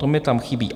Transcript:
To mi tam chybí.